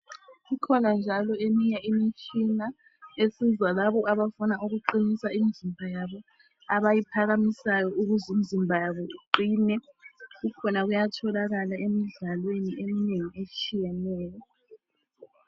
Ikhona njalo eminye imitshina esiza labo abafuna ukuqinisa imizimba yabo abayiphakamisayo ukuze imizimba yabo iqine kukhona kuyatholakala emidlalweni eminengi etshiyeneyo.